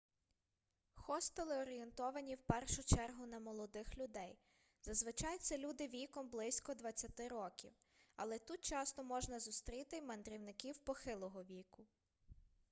хостели орієнтовані в першу чергу на молодих людей зазвичай це люди віком близько двадцяти років але тут часто можна зустріти й мандрівників похилого віку